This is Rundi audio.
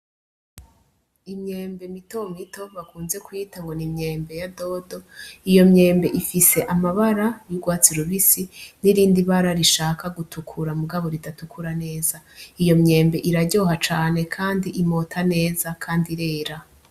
Imyembe mitomito bakunze kwita ngo n'imyembe ya dodo, iyo myembe ifise amabara y'ugwatsi rubisi n'irindi bara rishaka gutukura mugabo ridatukura neza, iyo myembe iraryoha cane, kandi imota neza, kandi irera.